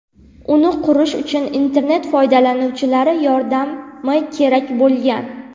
Uni qurish uchun internet foydalanuvchilari yordami kerak bo‘lgan.